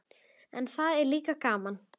En það er líka gaman.